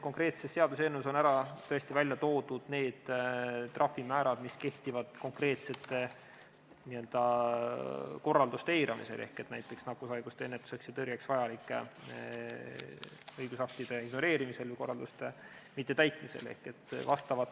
Konkreetses seaduseelnõus on välja toodud need trahvimäärad, mis kehtivad konkreetsete korralduste eiramise korral, näiteks nakkushaiguste ennetuseks ja tõrjeks vajalike õigusaktide ignoreerimise või korralduste mittetäitmise korral.